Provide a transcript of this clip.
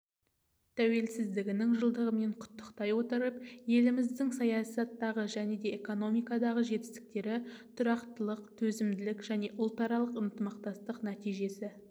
тәуелсіздігінің жылдығымен құттықтай отырып еліміздің саясаттағы және экономикадағы жетістіктері тұрақтылық төзімділік және ұлтаралық ынтымақтастық нәтижесі